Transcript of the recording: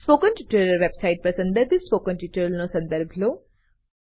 spoken tutorial website પર સંદર્ભિત spoken ટ્યુટોરીયલોનો સંદર્ભ લો